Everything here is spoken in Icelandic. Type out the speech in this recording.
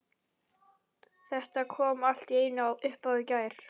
Þetta kom allt í einu upp á í gær.